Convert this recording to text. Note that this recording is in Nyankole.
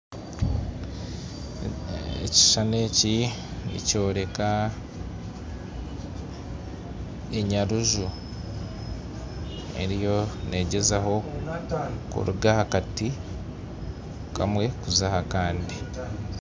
Ekishushani eki nikyoreka enyaruju eriyo neegyezaho kuruga aha kati kamwe kuza ahakandi.